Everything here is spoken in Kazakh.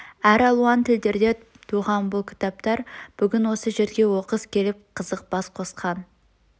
әр алуан тілдерде туған бұл кітаптар бүгн осы жерге оқыс келіп қызық бас қосқан